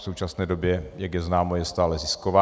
V současné době, jak je známo, je stále zisková.